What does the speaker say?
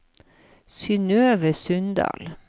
Synøve Sundal